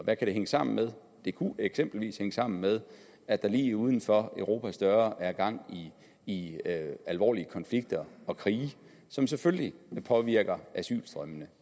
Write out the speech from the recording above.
hvad kan det hænge sammen med det kunne eksempelvis hænge sammen med at der lige uden for europas døre er gang i alvorlige konflikter og krige som selvfølgelig påvirker asylstrømmene